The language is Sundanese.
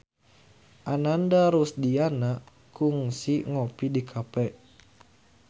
Ananda Rusdiana kungsi ngopi di cafe